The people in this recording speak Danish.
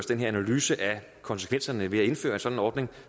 den her analyse af konsekvenserne ved at indføre en sådan ordning